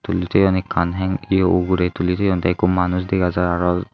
tuli toone hang que uguray tuli toyone tay eko manus dagajai.